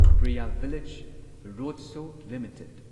Priya village roadshow limited